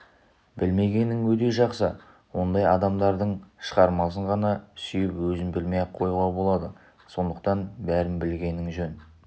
білмегенің өте жақсы ондай адамдардың шығармасын ғана сүйіп өзін білмей-ақ қоюға болады сондықтан бәрін білгенің жөн